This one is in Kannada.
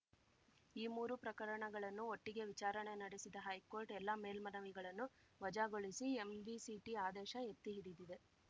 ಈ ಮೂರು ಪ್ರಕರಣಗಳನ್ನು ಒಟ್ಟಿಗೆ ವಿಚಾರಣೆ ನಡೆಸಿದ ಹೈಕೋರ್ಟ್‌ ಎಲ್ಲ ಮೇಲ್ಮನವಿಗಳನ್ನು ವಜಾಗೊಳಿಸಿ ಎಂವಿಸಿಟಿ ಆದೇಶ ಎತ್ತಿಹಿಡಿದಿದೆ